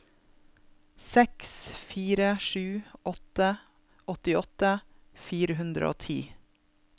seks fire sju åtte åttiåtte fire hundre og ti